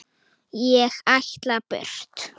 Ég ætla burt.